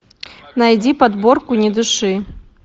найди подборку не дыши